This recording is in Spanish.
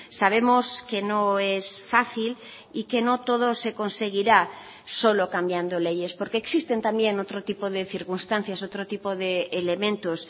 sabemos que no es fácil y que no todo se conseguirá solo cambiando leyes porque existen también otro tipo de circunstancias otro tipo de elementos